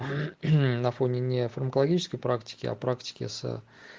на фоне не фармакологической практики а практики с